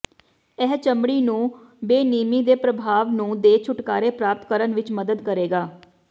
ਇਹ ਚਮੜੀ ਨੂੰ ਬੇਨਿਯਮੀ ਦੇ ਪ੍ਰਭਾਵ ਨੂੰ ਦੇ ਛੁਟਕਾਰੇ ਪ੍ਰਾਪਤ ਕਰਨ ਵਿੱਚ ਮਦਦ ਕਰੇਗਾ